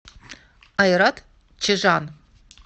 айрат чижан